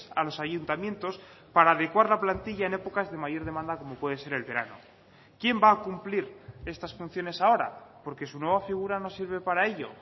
a los ayuntamientos para adecuar la plantilla en épocas de mayor demanda como puede ser el verano quién va a cumplir estas funciones ahora porque su nueva figura no sirve para ello